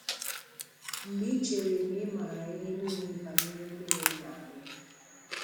Mgbe Ị chere na ị maara ihe nille banyere mmiri ị na-aṅụ